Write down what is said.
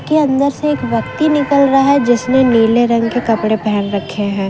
के अंदर से एक व्यक्ति निकल रहा है जिसने नीले रंग के कपड़े पहन रखे है।